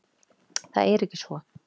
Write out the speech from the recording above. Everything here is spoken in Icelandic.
Það er ekki svo.